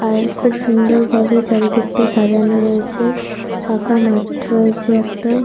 আর খুব সুন্দর ভাবে চারিদিকটা সাজানো রয়েছে। ফাঁকা মাঠ রয়েছে একটা।